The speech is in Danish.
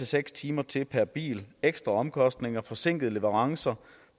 seks timer til per bil ekstra omkostninger forsinkede leverancer